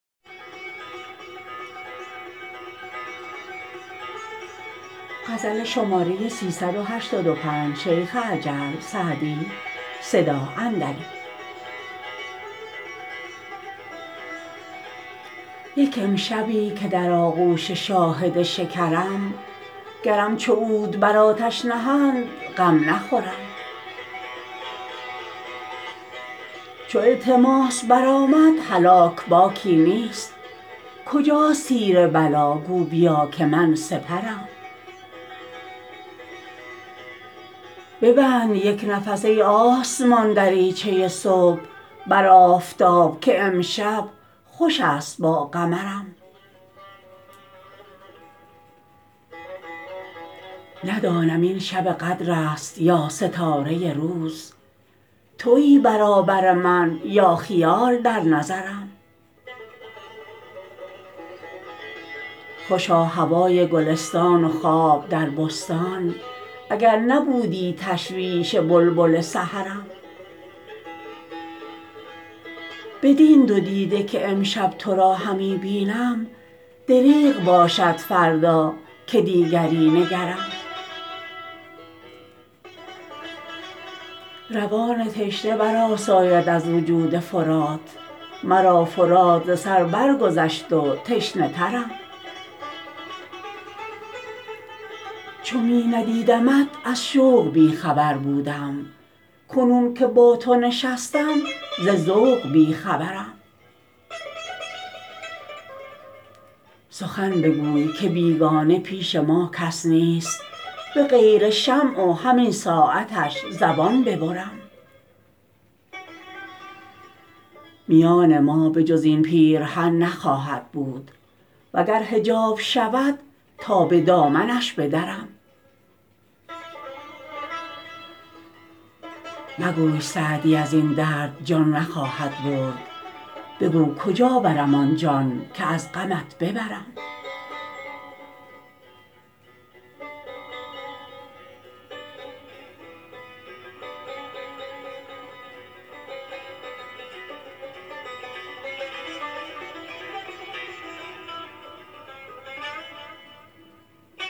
یک امشبی که در آغوش شاهد شکرم گرم چو عود بر آتش نهند غم نخورم چو التماس برآمد هلاک باکی نیست کجاست تیر بلا گو بیا که من سپرم ببند یک نفس ای آسمان دریچه صبح بر آفتاب که امشب خوش است با قمرم ندانم این شب قدر است یا ستاره روز تویی برابر من یا خیال در نظرم خوشا هوای گلستان و خواب در بستان اگر نبودی تشویش بلبل سحرم بدین دو دیده که امشب تو را همی بینم دریغ باشد فردا که دیگری نگرم روان تشنه برآساید از وجود فرات مرا فرات ز سر برگذشت و تشنه ترم چو می ندیدمت از شوق بی خبر بودم کنون که با تو نشستم ز ذوق بی خبرم سخن بگوی که بیگانه پیش ما کس نیست به غیر شمع و همین ساعتش زبان ببرم میان ما به جز این پیرهن نخواهد بود و گر حجاب شود تا به دامنش بدرم مگوی سعدی از این درد جان نخواهد برد بگو کجا برم آن جان که از غمت ببرم